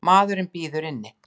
Maðurinn bíður inni.